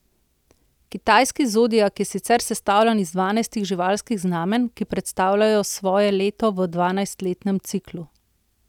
Kitajski zodiak je sicer sestavljen iz dvanajst živalskih znamenj, ki predstavljajo svoje leto v dvanajstletnem ciklu.